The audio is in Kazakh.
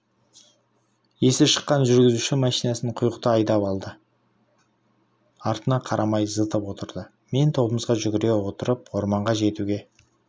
есі шыққан жүргізуші машинасын құйғыта айдап алды-артына қарамай зытып отырды мен тобымызға жүгіре отырып орманға жетуге